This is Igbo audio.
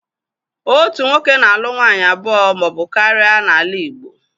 Otu nwoke na- alu nwaanyị abụọ ma ọbụ karịa n'ala Igbo.